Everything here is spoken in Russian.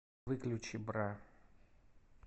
выключи бра